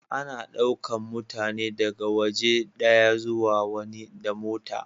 Ana daukan mutane daga waje daya zuwa wani da mota.